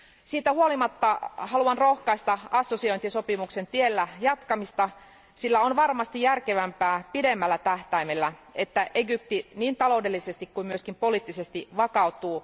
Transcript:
Siitä huolimatta haluan rohkaista assosiointisopimuksen tiellä jatkamista, sillä on varmasti järkevämpää pidemmällä tähtäimellä, että Egypti niin taloudellisesti kuin myös poliittisesti vakautuu.